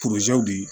di